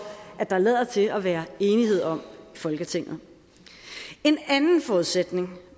at der lader til at være enighed om i folketinget en anden forudsætning